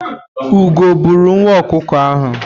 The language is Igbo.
Ugo bụrụ nwa ọkụkọ ahụ.